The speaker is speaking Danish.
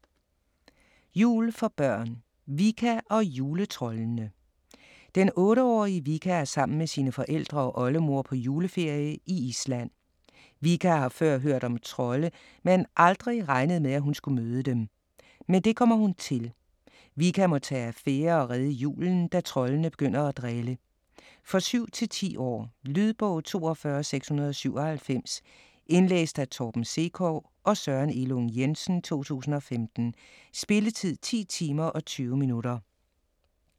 Jul for børn Vikka og juletroldene: Den 8-årige Vikka er sammen med sine forældre og oldemor på juleferie i Island. Vikka har før hørt om trolde, men aldrig regnet med, at hun skulle møde dem. Men det kommer hun til! Vikka må tage affære og redde julen, da troldene begynder at drille. For 7-10 år. Lydbog 42697 Indlæst af Torben Sekov og Søren Elung Jensen, 2015. Spilletid: 10 timer, 20 minutter.